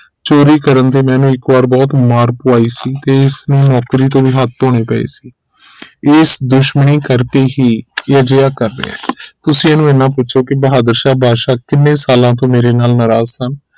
ਚੋਰੀ ਕਰਨ ਤੇ ਮੈਂ ਇਕ ਵਾਰ ਇਹਨੂੰ ਬਹੁਤ ਮਾਰ ਪਵਾਈ ਸੀ ਤੇ ਇਸਨੂੰ ਨੌਕਰੀ ਤੋਂ ਵੀ ਹੱਥ ਧੋਣੇ ਪਏ ਸੀ ਇਸ ਦੁਸ਼ਮਣੀ ਕਰਕੇ ਹੀ ਇਹ ਅਜਿਹਾ ਕਰ ਰਿਹ ਹੈ ਤੁਸੀਂ ਇਹਨੂੰ ਇਨ੍ਹਾਂ ਪੁਛੋ ਕਿ ਬਹਾਦਰ ਸ਼ਾਹ ਬਾਦਸ਼ਾਹ ਕਿੰਨੇ ਸਾਲਾਂ ਤੋਂ ਮੇਰੇ ਨਾਲ ਨਾਰਾਜ਼ ਸਨ